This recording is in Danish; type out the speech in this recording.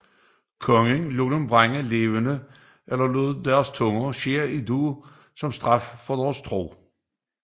Kongen lod dem brænde levende eller lod deres tunge skære ud som straf for deres tro